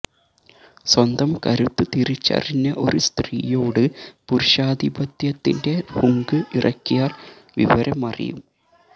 സ്വന്തം കരുത്ത് തിരിച്ചറിഞ്ഞ ഒരു സ്ത്രീയോട് പുരുഷാധിപത്യത്തിന്റെ ഹുങ്ക് ഇറക്കിയാല് വിവരമറിയും